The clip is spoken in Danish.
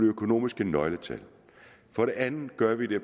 økonomiske nøgletal for det andet gør vi det